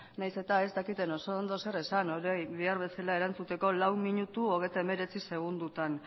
nahiz eta ez dakiten oso ondo zer esan horri behar bezala erantzuteko lau minutu hogeita hemeretzi segundotan